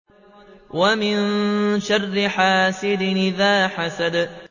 وَمِن شَرِّ حَاسِدٍ إِذَا حَسَدَ